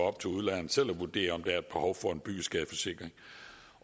op til udlejeren selv at vurdere om der er et behov for en byggeskadeforsikring